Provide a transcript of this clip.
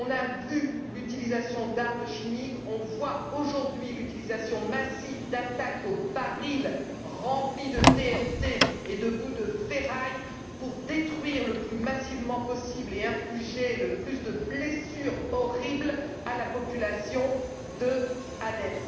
On a vu l'utilisation d'armes chimiques, on voit aujourd'hui l'utilisation massive d'attaques aux barils remplis de TNT et de bouts de ferraille pour détruire le plus massivement possible et infliger le plus de blessures horribles à la population d'Alep.